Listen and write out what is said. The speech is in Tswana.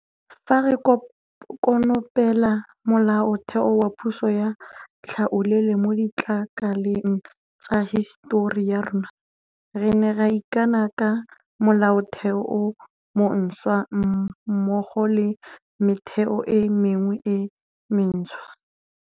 Fa re konopela Molaotheo wa puso ya tlhaolele mo ditlakaleng tsa hisetori ya rona, re ne ra ikana ka Molaotheo o montšhwa mmogo le metheo e mengwe e mentšhwa.